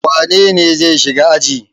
Wane ne zai shiga aji?